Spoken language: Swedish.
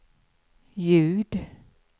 ljud